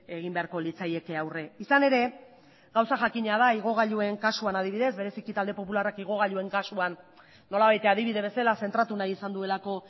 egin beharko litzaieke aurre izan ere gauza jakina da igogailuen kasuan adibidez bereziki talde popularrak igogailuen kasuan nolabait adibide bezala zentratu nahi izan duelako